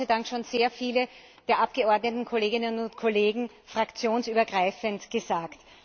Das haben Gott sei Dank schon sehr viele der Abgeordnetenkolleginnen und kollegen fraktionsübergreifend gesagt.